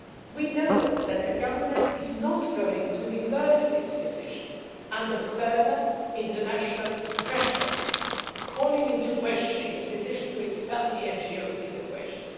We know that the Government is not going to reverse its decision under further international pressure calling into question its decision to expel the NGOs in question.